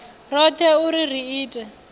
roṱhe u ri ri ite